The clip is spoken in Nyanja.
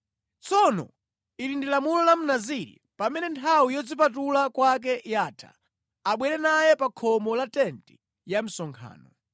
“Tsono ili ndi lamulo la Mnaziri pamene nthawi yodzipatula kwake yatha: Abwere naye pa khomo la tenti ya msonkhano.